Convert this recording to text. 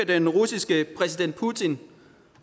den russiske præsident putin